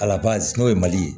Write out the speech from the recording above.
Ala barika ye mali ye